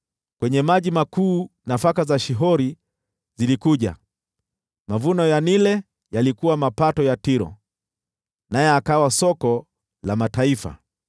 Kwenye maji makuu nafaka za Shihori zilikuja; mavuno ya Naili yalikuwa mapato ya Tiro, naye akawa soko la mataifa.